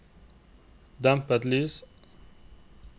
dempet lys